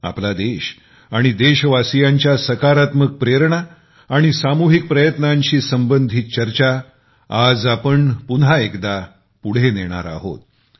आपला देश आणि देशवासीयांच्या सकारात्मक प्रेरणा आणि सामुहिक प्रयत्नांशी संबंधित चर्चा आज आपण पुन्हा एकदा पुढे नेणार आहोत